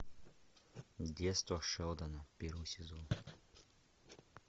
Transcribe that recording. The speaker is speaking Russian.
детство шелдона первый сезон